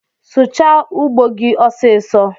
Sụchaa ugbo gi ọsịsọ